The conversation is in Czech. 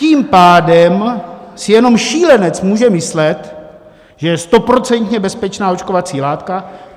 Tím pádem si jenom šílenec může myslet, že je stoprocentně bezpečná očkovací látka.